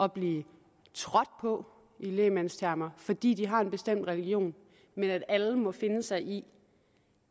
at blive trådt på i lægmandstermer fordi de har en bestemt religion men at alle må finde sig i